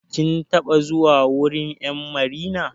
Kin taɓa zuwa wurin 'yan marina.